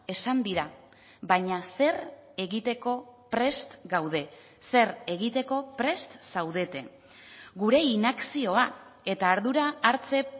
esan dira baina zer egiteko prest gaude zer egiteko prest zaudete gure inakzioa eta ardura hartze